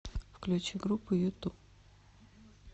включи группу юту